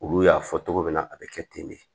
Olu y'a fɔ cogo min na a bi kɛ ten de